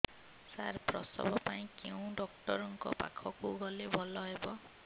ସାର ପ୍ରସବ ପାଇଁ କେଉଁ ଡକ୍ଟର ଙ୍କ ପାଖକୁ ଗଲେ ଭଲ ହେବ